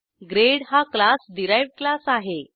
grade हा class derived class आहे